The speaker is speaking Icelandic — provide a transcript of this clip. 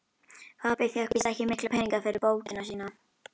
Pabbi fékk víst ekki mikla peninga fyrir bókina sína.